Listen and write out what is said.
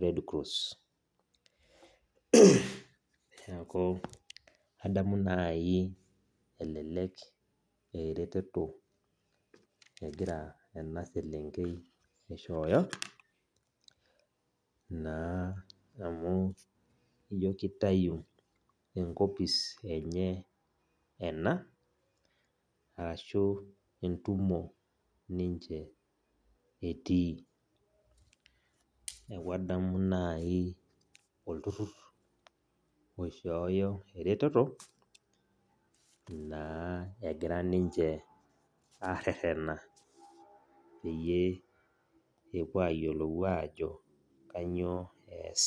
red cross. Neeku, adamu nai elelek ah ereteto egira ena selenkei aishooyo, naa amu ijo kitayu enkopis enye ena, arashu entumo ninche etii. Neeku adamu nai olturrrur oishooyo ereteto, naa egira ninche arrerrena peyie epuo ayiolou ajo kanyioo ees.